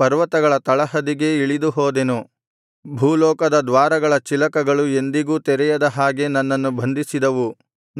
ಪರ್ವತಗಳ ತಳಹದಿಗೆ ಇಳಿದುಹೋದೆನು ಭೂಲೋಕದ ದ್ವಾರಗಳ ಚಿಲಕಗಳು ಎಂದಿಗೂ ತೆಗೆಯದ ಹಾಗೆ ನನ್ನನ್ನು ಬಂಧಿಸಿದವು